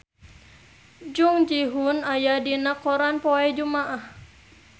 Jung Ji Hoon aya dina koran poe Jumaah